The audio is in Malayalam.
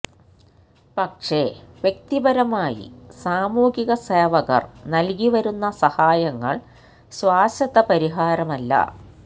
പക്ഷെ വ്യക്തിപരായി സാമൂഹിക സേവകർ നൽകി വരുന്ന സഹായങ്ങൾ ശാശ്വത പരിഹാരമല്ല